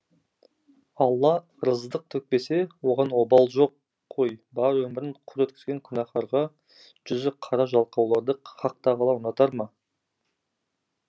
алла ырыздық төкпесе оған обал жоқ қой бар өмірін құр өткізген күнәһарға жүзі қара жалқауларды хақтағала ұнатар ма